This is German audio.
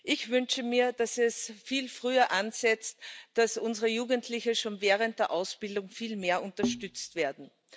Ich wünsche mir, dass es viel früher ansetzt, dass unsere Jugendlichen schon während der Ausbildung viel mehr unterstützt werden.